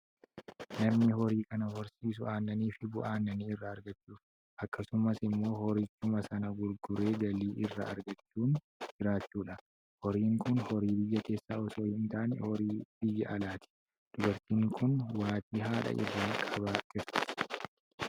Namni horii kana horsiisu aannanii fi bu'aa aannanii irra aragchuuf, akkasumas immoo horichuma sana gurguree galii irraa argamuun jiraachuufidha. Horiin kun horii biyya keessaa osoo hin taanae horii biyya alaati. Dubartiin kun waatii haadha irraa qabaa jirti